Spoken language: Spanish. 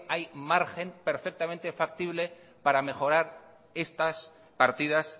hay margen perfectamente factible para mejorar estas partidas